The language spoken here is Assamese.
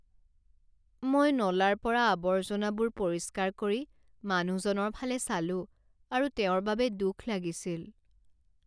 মই নলাৰ পৰা আৱৰ্জনাবোৰ পৰিষ্কাৰ কৰি মানুহজনৰ ফালে চালোঁ আৰু তেওঁৰ বাবে দুখ লাগিছিল।